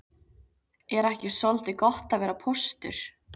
Er ekki soldið gott að vera póstur?